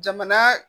Jamana